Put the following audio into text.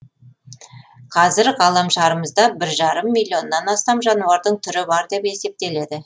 қазір ғаламшарымызда бір жарым миллионнан астам жануардың түрі бар деп есептеледі